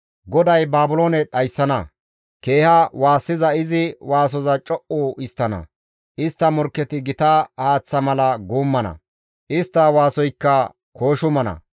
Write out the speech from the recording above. GODAY Baabiloone dhayssana; keeha waassiza izi waasoza co7u histtana; istta morkketi gita haaththa mala guummana; istta waasoykka kooshumana.